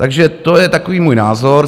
Takže to je takový můj názor.